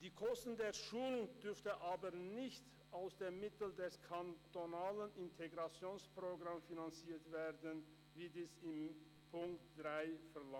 Die Kosten der Schulung dürften aber nicht aus dem kantonalen Integrationsprogramm finanziert werden, wie in Punkt 3 verlangt.